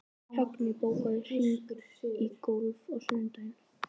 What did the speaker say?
Högni, bókaðu hring í golf á sunnudaginn.